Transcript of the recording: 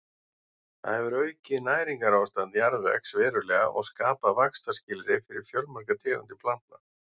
Það hefur aukið næringarástand jarðvegs verulega og skapað vaxtarskilyrði fyrir fjölmargar tegundir plantna.